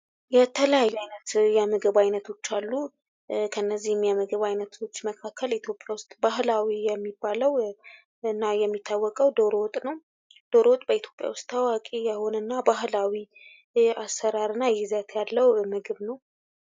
የተለያዩ አይነት የምግብ አይነቶች አሉ። ከነዚህም ምግብ አይነቶች መካከል የኢትዮጵያ ውስጥ ባህላዊ የሚባለው እና የሚታወቀው ዶሮ ወጥ ነው። ዶሮ ወጥ በኢትዮጵያ ውሰጥ ታዋቂ የሆነ እና ባህላዊ የአሰራር እና ይዘት ያለው ምግብ ነው።